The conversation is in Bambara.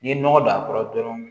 N'i ye nɔgɔ don a kɔrɔ dɔrɔn